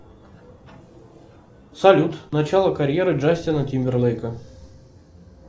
салют начало карьеры джастина тимберлейка